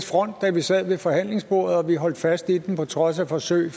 front da vi sad ved forhandlingsbordet vi holdt fast i den til trods for forsøg